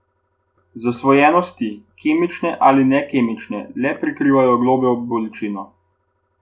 Zasvojenosti, kemične ali nekemične, le prekrivajo globljo bolečino.